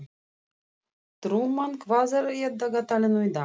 Trúmann, hvað er á dagatalinu í dag?